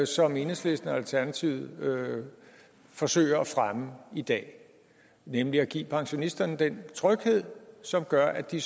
som enhedslisten og alternativet forsøger at fremme i dag nemlig at give pensionisterne den tryghed som gør at de